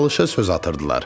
Talışa söz atırdılar.